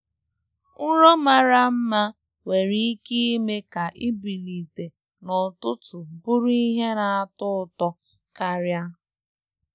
Nrọ mara mma nwere nwere ike ime ka ibilite n'ụtụtụ bụrụ ihe na-atọ ụtọ karịa.